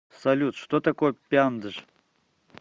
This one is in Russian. салют что такое пяндж